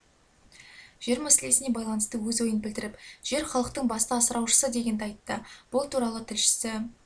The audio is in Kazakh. жер мәселесіне байланысты өз ойын білдіріп жер халықтың басты асыраушысы дегенді айтты бұл туралы тілшісі